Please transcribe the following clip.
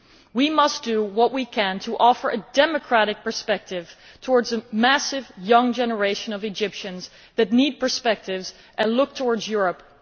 We must do what we can to offer a democratic perspective to a massive young generation of Egyptians who need such perspectives and look to Europe.